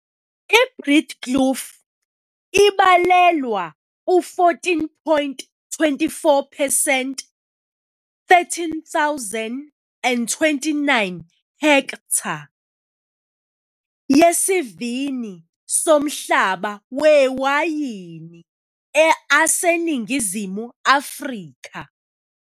iBreedekloof ibalelwa ku 14.24 phesenti, 13029 hektha, yesivini somhlaba wamawayini aseNingizimu Afrika.